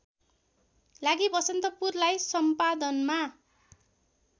लागि बसन्तपुरलाई सम्पादनमा